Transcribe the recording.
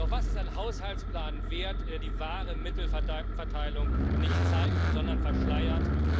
Doch was ist ein Haushaltsplan wert, der die wahre Mittelverteilung nicht zeigt, sondern verschleiert?